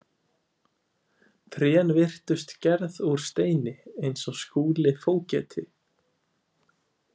Trén virtust gerð úr steini eins og Skúli fógeti.